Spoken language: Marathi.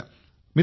मित्रांनो